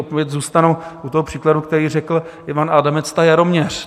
Opět zůstanu u toho příkladu, který řekl Ivan Adamec, ta Jaroměř.